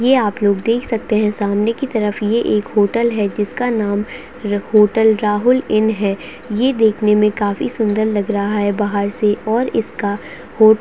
ये आप लोग देख सकते है सामने की तरफ ये एक होटल है जिसका नाम र होटल राहुल इन है ये देखने में काफ़ी सुंदर लग रहा है बाहर से और इसका होटल --